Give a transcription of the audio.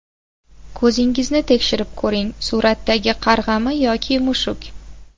Ko‘zingizni tekshirib ko‘ring: suratdagi qarg‘ami yo mushuk?.